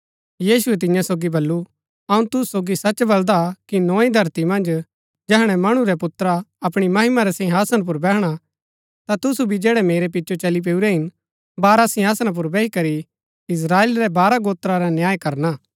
यीशुऐ तियां सोगी बल्लू अऊँ तुसु सोगी सच बलदा कि नोई धरती मन्ज जैहणै मणु रै पुत्रा अपणी महिमा रै सिंहासना पुर बैहणा ता तुसु भी जैड़ै मेरै पिचो चली पैऊरै हिन बारह सिंहासना पुर बैही करी इस्त्राएल रै बारह गोत्रा रा न्याय करना